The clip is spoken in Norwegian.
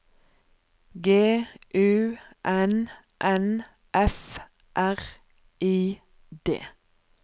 G U N N F R I D